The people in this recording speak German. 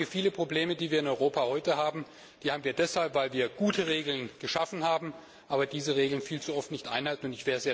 Viele Probleme, die wir in Europa heute haben, haben wir deshalb, weil wir gute Regeln geschaffen haben, aber diese Regeln viel zu oft nicht einhalten.